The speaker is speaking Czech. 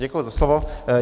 Děkuji za slovo.